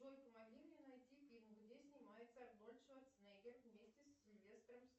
джой помоги мне найти фильм где снимается арнольд шварценеггер вместе с сильвестром